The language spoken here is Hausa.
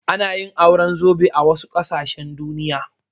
Ana yin auren zobe a wasu ƙasashen Duniya.